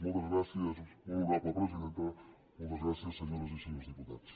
moltes gràcies molt honorable presidenta moltes gràcies senyores i senyors diputats